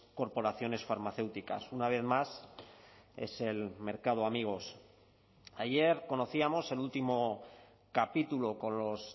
corporaciones farmacéuticas una vez más es el mercado amigos ayer conocíamos el último capítulo con los